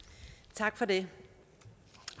tak for det